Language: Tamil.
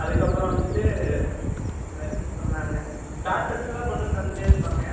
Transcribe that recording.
அதுக்கு அப்பறம் வந்துட்டு வேற என்ன சொன்னாங்க starters லாம் கொண்டு வந்து தந்துடே இருப்பாங்க